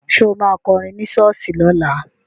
Ṣo ma kọrin ní ṣọ́ọ̀ṣì lọ́la?